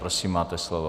Prosím, máte slovo.